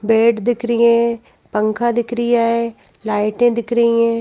Bed दिख रिये है पंखा दिख रियाहै लाइटें दिख रही हैं।